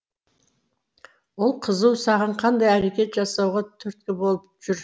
ол қызу саған қандай әрекет жасауға түрткі болып жүр